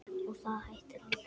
Og það hættir aldrei.